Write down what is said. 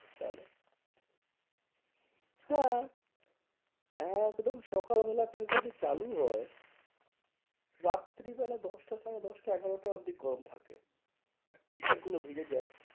তাহলে হ্যাঁ একদম সকাল বেলা থেকে ওটা চালু হয় রাত্রি বেলা দশটা সাড়ে দশটা এগারোটা অবধি গরম থাকে। t-shirt গুলো ভিজে যায়।